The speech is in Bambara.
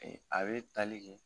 Ee a be tali kɛ